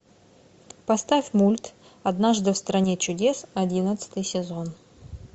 поставь мульт однажды в стране чудес одиннадцатый сезон